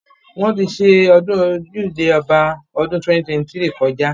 Wóṇ ti ṣe ọdún Ojúde Ọba ọdún 2023 kọjá.